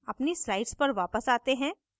अपनी slides पर वापस आते हैं